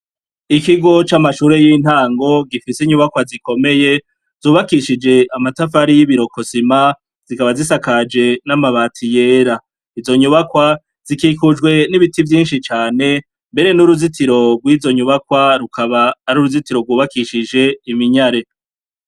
Ikigo c'amashure y'intango gifise inyubakwa zikomeye zubakishije amatafari y'ibirokosima zikaba zisakaje n'amabati yera. Izo nyubakwa zikikujwe n'ibiti vyinshi cane mbere n'uruzitiro rw'izo nyubakwa rukaba ari uruzitiro rwubakishije iminyare.